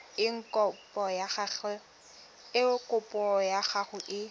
eng kopo ya gago e